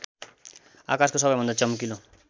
आकाशको सबैभन्दा चम्किलो